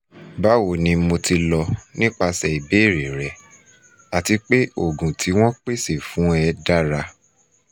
bawo mo ti lọ nipasẹ ibeere rẹ ati pe oogun ti wọ́n pese fun ẹ dara